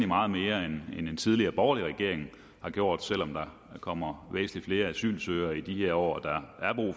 meget mere end en tidligere borgerlig regering har gjort selv om der kommer væsentlig flere asylsøgere i de her år